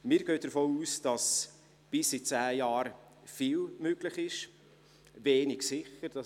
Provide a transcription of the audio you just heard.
Wir gehen davon aus, dass bis in zehn Jahren viel möglich und wenig sicher ist.